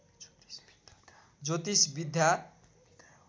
ज्योतिष विद्या